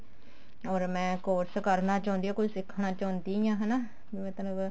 or ਮੈਂ course ਕਰਨਾ ਚਾਹੁੰਦੀ ਹਾਂ ਕੁੱਝ ਸਿੱਖਣਾ ਚਾਹੁੰਦੀ ਹਾਂ ਹਨਾ ਵੀ ਮਤਲਬ